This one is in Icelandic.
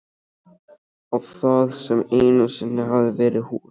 Á það sem einu sinni hafði verið húsið.